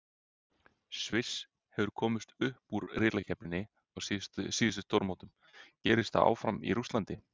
Sviss hefur komist upp úr riðlakeppninni á síðustu stórmótum, gerist það áfram í Rússlandi?